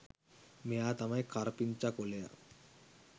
මෙයා තමයි කරපිංචා කොළයා